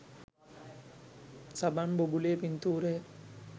සබන් බුබුලේ පින්තූරය.